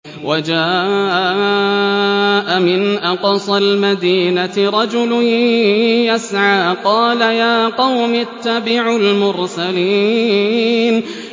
وَجَاءَ مِنْ أَقْصَى الْمَدِينَةِ رَجُلٌ يَسْعَىٰ قَالَ يَا قَوْمِ اتَّبِعُوا الْمُرْسَلِينَ